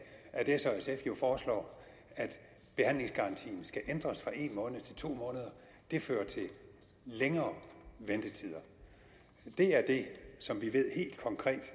at s og sf jo foreslår at behandlingsgarantien skal ændres fra en måned til to måneder det fører til længere ventetider det er det som vi ved helt konkret